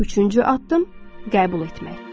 Üçüncü addım qəbul etmək.